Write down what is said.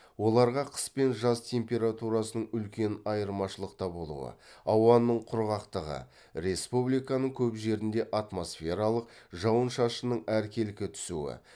оларға қыс пен жаз температурасының үлкен айырмашылықта болуы ауаның құрғақтығы республиканың көп жерінде атмосфералық жауын шашынның әркелкі түсуі